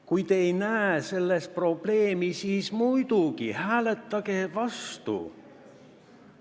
Kui te ei näe selles probleemi, siis muidugi hääletage vastu.